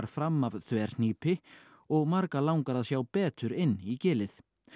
fram af þverhnípi og marga langar að sjá betur inn í gilið